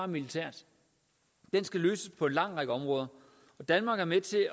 militært den skal løses på en lang række områder og danmark er med til at